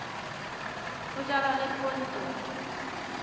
ho jalwa le poone bo